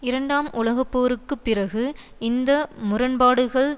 இரண்டாம் உலக போருக்கு பிறகு இந்த முரண்பாடுகள்